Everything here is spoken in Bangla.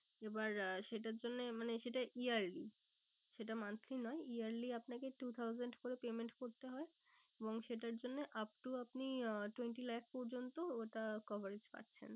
এবার আহ সেটার জন্য মানে সেটা yearly সেটা monthly নয় yearly আপনাকে two thousand করে payment করতে হয়। এবং সেটার জন্য up to আপনি আহ twenty lakhs পর্যন্ত ওটা coverage পাচ্ছেন।